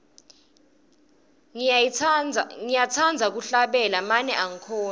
ngiyatsandza kuhlabela mane angikhoni